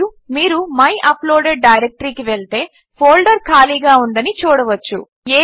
మరియు మీరు my uploaded directory కి వెళ్తే ఫోల్డర్ ఖళీగా ఉందని చూడవచ్చు